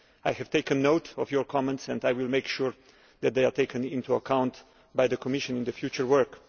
I have taken note of your comments and will make sure that they are taken into account by the Commission in its future work.